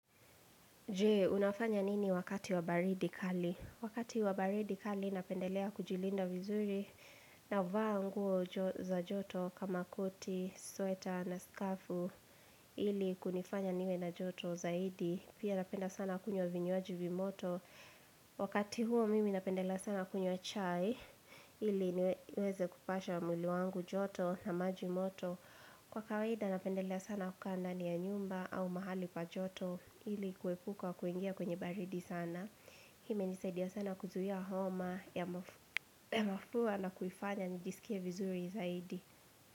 Jee, unafanya nini wakati wabaridi kali? Wakati wabaridi kali napendelea kujilinda vizuri na vaa nguo za joto kama koti, sweta na skafu ili kunifanya niwe na joto zaidi. Pia napenda sana kunywa vinywaji vimoto. Wakati huo mimi napendelea sana kunywa chai ili niweze kupasha mwili wangu joto na maji moto. Kwa kawaida napendelea sana kukaa nda ni ya nyumba au mahali pa joto ili kuepuka wa kuingia kwenye baridi sana. Hime nisaidia sana kuzuhia homa ya mafua na kuifanya nijisikie vizuri zaidi.